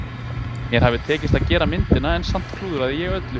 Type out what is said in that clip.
Mér hafði tekist að gera myndina en samt klúðraði ég öllu.